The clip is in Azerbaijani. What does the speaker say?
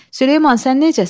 Süleyman, sən necəsən?